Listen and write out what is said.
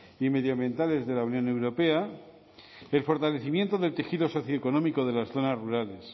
y medioambientales de la unión europea el fortalecimiento del tejido socioeconómico de las zonas rurales